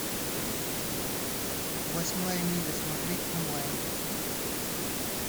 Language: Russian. восьмая миля смотреть онлайн